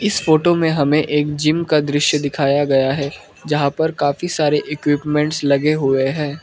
इस फोटो में हमे एक जिम का दृश्य दिखाया गया है। जहां पर काफी सारे इक्विपमेंट्स लगे हुए हैं।